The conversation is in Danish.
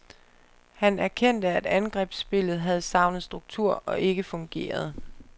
Han erkendte, at angrebsspillet havde savnet struktur og ikke fungerede.